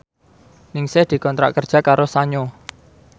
Ningsih dikontrak kerja karo Sanyo